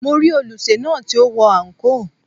Mo rí olùsè náà tí ó wọ àǹkóò.